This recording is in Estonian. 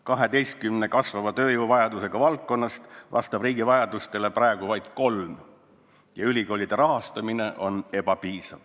12-st kasvava tööjõuvajadusega valdkonnast vastab riigi vajadustele praegu vaid kolm ja ülikoolide rahastamine on ebapiisav.